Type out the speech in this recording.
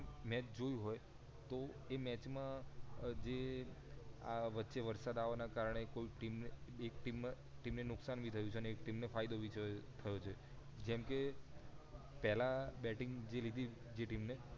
match જોયું હોય એ મેચ માં જે આ વચ્ચે વરસાદ અવાના કારણે કોઈ ટીમ ને એક ટીમ ને નુકસાન બી થયું છે એક ટીમ ને ફાયદો પણ થયો છે કેમકે પહેલા બેટીંગ લીધી જે ટીમે